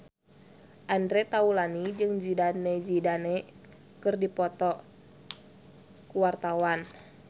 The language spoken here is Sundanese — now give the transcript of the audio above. Andre Taulany jeung Zidane Zidane keur dipoto ku wartawan